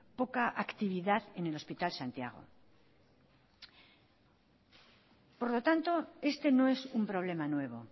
poca actividad en el hospital santiago por lo tanto este no es un problema nuevo